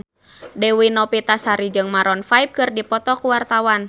Dewi Novitasari jeung Maroon 5 keur dipoto ku wartawan